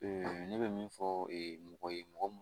ne bɛ min fɔ ee mɔgɔ ye mɔgɔ mun